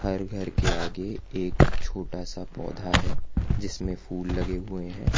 और घर के आगे एक छोटा सा पौधा है जिसमें फूल लगे हुए हैं।